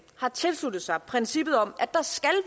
har tilsluttet sig princippet om at der skal